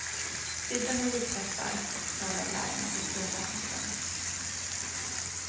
Krydda med vitpeppar och skal av lime och en smula saffran.